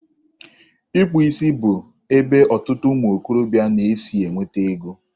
Ịkpụ isi bụ ebe ọtụtụ ụmụ okorobịa na-esi enweta ego.